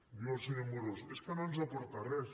diu el senyor amorós és que no ens aporta res